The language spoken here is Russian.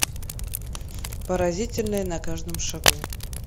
поразительное на каждом шагу